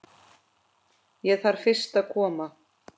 Ég þarf fyrst að koma